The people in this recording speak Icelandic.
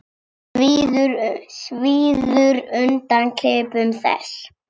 Svíður undan klipum þess.